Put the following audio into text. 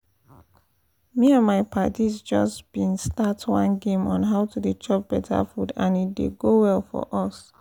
me and my padis just been start one game on how to dey chop better food and e dey go well for us